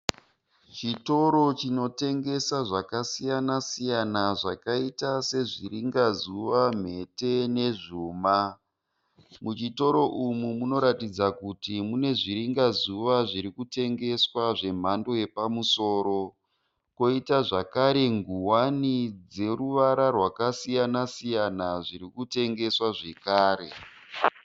Chitoro chinotengesa zvakasiyana siyana zvakaita sezviringazuva, mhete nezvuma. Muchitoro umu munoratidza kuti mune zviringazuva zvirikutengeswa zvemhando yapamusoro. Koita zvakare nguwani dzeruvara rwakasiyana siyana zvirikutengeswa zvekare.